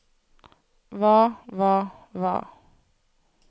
hva hva hva